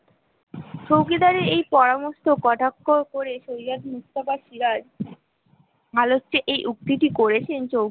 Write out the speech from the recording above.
চৌকিদারের এই পরামর্শ কটাক্ষ করেছে